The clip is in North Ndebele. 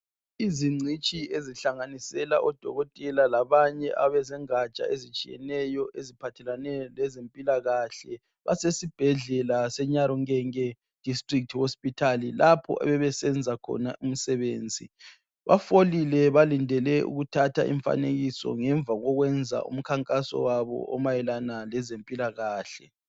Izingcitshi ezihlanganisela odokotela labanye abezongatsha ezitshiyeneyo eziphathelane lezempilakahle basesibhedlela seNyarungenge district hospital lapho Besenza khona umsebenzi bafolile balinde ukuthatha imifanekiso ngemva okokwenza umikhankaso wabo omayelana ngezempilakahle